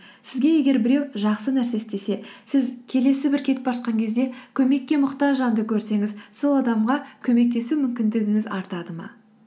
сізге егер біреу жақсы нәрсе істесе сіз келесі бір кетіп бара жатқан кезде көмекке мұқтаж жанды көрсеңіз сол адамға көмектесу мүмкіндігіңіз артады ма